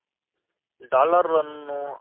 dollar ಅನ್ನು